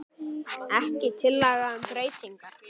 Ekki tillaga um breytingar